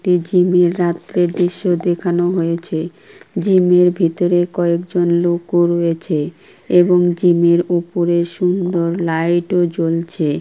একটি জিমের -এর রাত্রের দৃশ্য দেখানো হয়েছে জিম -এর ভিতরে কয়েকজন লোকও রয়েছে এবং জিম -এর ওপরে সুন্দর লাইট ও জ্বলছে।